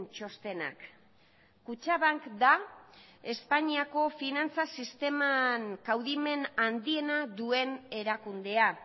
txostenak kutxabank da espainiako finantza sisteman kaudimen handiena duen erakundea